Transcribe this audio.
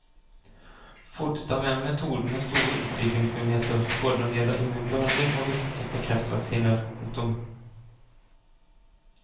Fodstad mener metoden har store utviklingsmuligheter både når det gjelder immunbehandling og visse typer kreftvaksiner. punktum